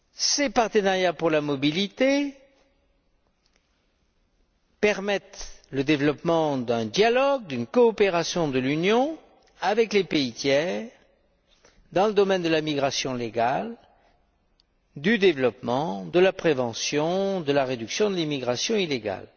Ces partenariats pour la mobilité permettent le développement d'un dialogue, d'une coopération de l'Union avec les pays tiers dans le domaine de la migration légale, du développement, de la prévention et de la réduction de l'immigration illégale.